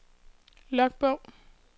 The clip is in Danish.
logbog